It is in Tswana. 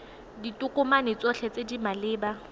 ditokomane tsotlhe tse di maleba